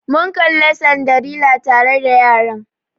Mun Kalli Cinderella tare da yaran.